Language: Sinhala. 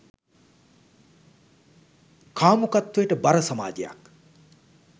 කාමුකත්වයට බර සමාජයක්